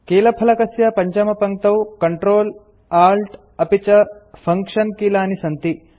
कीलफलकस्य पञ्चमपङ्क्तौ Ctrl Alt अपि च फंक्शन कीलानि सन्ति